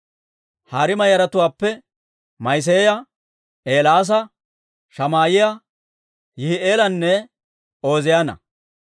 Hariima yaratuwaappe Ma'iseeya, Eelaasa, Shamaa'iyaa, Yihi'eelanne Ooziyaana.